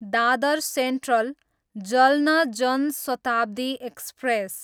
Dadar central, Jalna Jan Shatabdi express